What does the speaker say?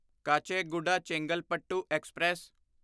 Kacheguda Chengalpattu express